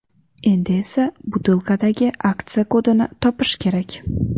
Endi esa butilkadagi aksiya kodini topish kerak.